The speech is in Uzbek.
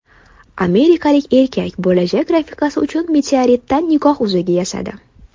Amerikalik erkak bo‘lajak rafiqasi uchun meteoritdan nikoh uzugi yasadi .